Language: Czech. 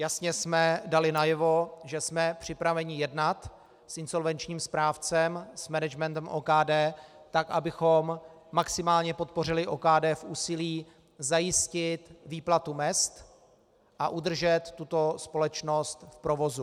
Jasně jsme dali najevo, že jsme připraveni jednat s insolvenčním správcem, s managementem OKD tak, abychom maximálně podpořili OKD v úsilí zajistit výplatu mezd a udržet tuto společnost v provozu.